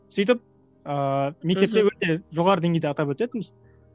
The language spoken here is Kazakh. сөйтіп ыыы мектепте өте жоғары деңгейде атап өтетінбіз